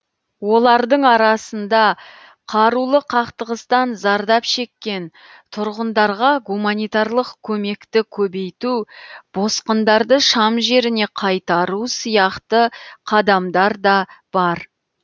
олардың арасында қарулы қақтығыстан зардап шеккен тұрғындарға гуманитарлық көмекті көбейту босқындарды шам жеріне қайтару сияқты қадамдар да бар